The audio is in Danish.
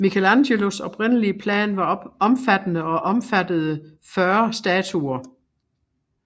Michelangelos oprindelige plan var omfattende og omfattede 40 statuer